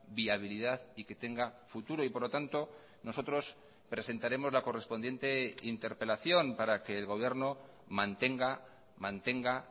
viabilidad y que tenga futuro y por lo tanto nosotros presentaremos la correspondiente interpelación para que el gobierno mantenga mantenga